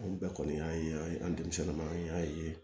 An bɛɛ kɔni y'a ye an ye an denmisɛnnin ma an y'a ye